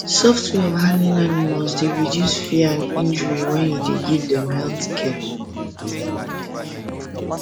soft way of handling animals dey reduce fear and injury when you dey give them health care